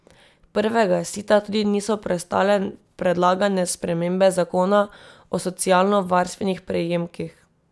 Prvega sita tudi niso prestale predlagane spremembe zakona o socialnovarstvenih prejemkih.